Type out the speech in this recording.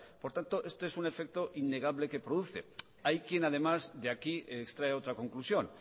por tanto este es un efecto innegable que produce hay quien además de aquí extrae otra conclusión